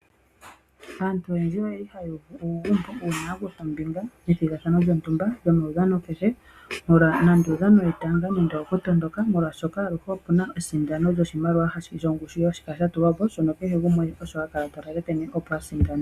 Aantu oyendji oyeli haya uvu uugumbo uuna ya kutha ombinga methigathano gamoudhano kehe nande omaudhano wetanga nenge owokutondoka omolwashoka aluhe opuna esindano lyoshimaliwa shongushu hashi kala sha tulwapo shono kehe gumwe ha lalakanene opo asindane.